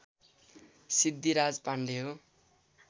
सिद्धिराज पाण्डे हो